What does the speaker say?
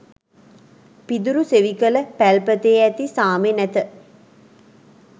පිදුරු සෙවිකල පැල්පතේ ඇති සාමෙ නැත